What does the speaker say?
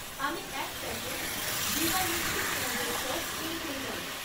আমি এক প্যাকেট ভিবা মিষ্টি পেঁয়াজের সস কিনতে চাই